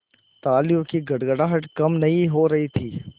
तालियों की गड़गड़ाहट कम नहीं हो रही थी